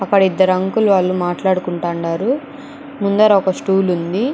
అక్కడ ఇద్దరు అంకుల్ వాళ్ళు మాట్లాడుకుంటారు. ముందర ఒక స్టూల్ ఉంది.